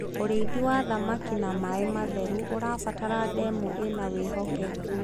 ũrĩithi wa thamakĩ na maĩ matheru ũrabatara ndemu ina wihokeku